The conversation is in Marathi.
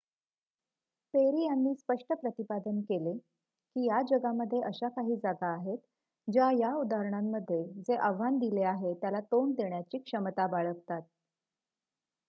"पेरी यांनी स्पष्ट प्रतिपादन केले की,""या जगामध्ये अशा काही जागा आहेत ज्या या उदाहरणांमध्ये जे आव्हान दिले आहे त्याला तोंड देण्याची क्षमता बाळगतात.